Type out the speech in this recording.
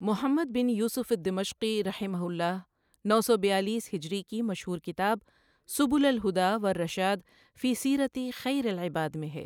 محمد بن یوسف الدمشقی رحمہ اللہ، نو سو بیالیس ہجری کی مشہور کتاب سبل الهدى والرشاد في سيرة خير العباد میں ہے۔